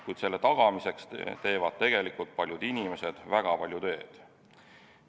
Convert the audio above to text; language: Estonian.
Kuid selle tagamiseks teevad tegelikult paljud inimesed väga palju tööd.